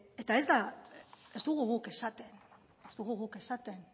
eta ez dugu guk esaten ez dugu guk esaten